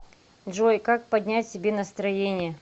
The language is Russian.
джой как поднять себе настроение